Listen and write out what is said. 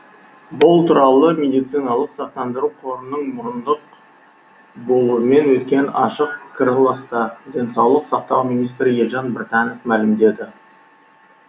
бұл туралы медициналық сақтандыру қорының мұрындық болуымен өткен ашық пікіраласта денсаулық сақтау министрі елжан біртанов мәлімдеді